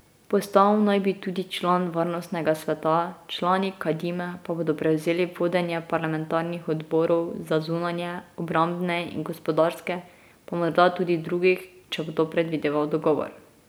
Postal naj bi tudi član varnostnega sveta, člani Kadime pa bodo prevzeli vodenje parlamentarnih odborov za zunanje, obrambne in gospodarske pa morda tudi drugih, če bo to predvideval dogovor.